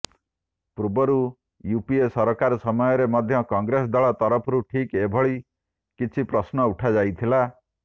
ପୂର୍ବରୁ ଇଉପିଏ ସରକାର ସମୟରେ ମଧ୍ୟ କଂଗ୍ରେସ ଦଳ ତରଫରୁ ଠିକ ଏହିଭଳି କିଛି ପ୍ରଶ୍ନ ଉଠାଯାଇଥିଲା